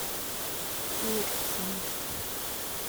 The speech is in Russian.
кирсом